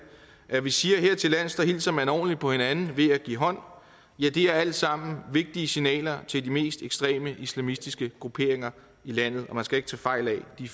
at vi siger at hertillands hilser man ordentligt på hinanden ved at give hånd ja det er alt sammen vigtige signaler til de mest ekstreme islamistiske grupperinger i landet og man skal ikke tage fejl af at de